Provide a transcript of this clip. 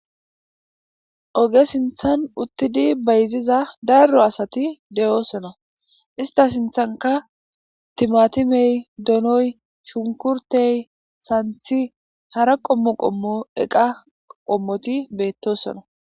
Oge sinthan uttidi bayziza darro asati de7oosona ista sinthanka timatimey donoy shunkurtey santhi hara qommo qommo eqa qommoti beettosona.